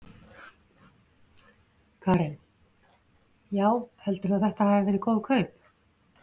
Karen: Já, heldurðu að þetta hafi verið góð kaup?